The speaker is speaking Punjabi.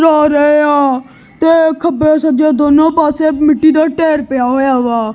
ਰੋ ਰਹੇ ਆ ਤੇ ਖੱਬੇ ਸੱਜੇ ਦੋਨੋਂ ਪਾਸੇ ਮਿੱਟੀ ਦਾ ਢੇਰ ਪਿਆ ਹੋਇਆ ਵਾ।